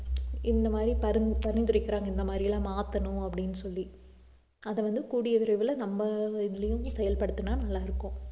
இந்த மாதிரி பரிந்து~ பரிந்துரைக்கிறாங்க இந்த மாதிரி எல்லாம் மாத்தணும் அப்படின்னு சொல்லி அத வந்து கூடிய விரைவில நம்ம இதுலயும் செயல்படுத்தினா நல்லா இருக்கும்